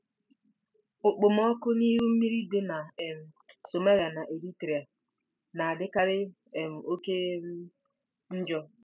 Okpomọkụ na iru mmiri dị na um Somalia na Eritrea na-adịkarị um oke um njọ.